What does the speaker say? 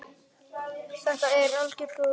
Þetta er gömul staka.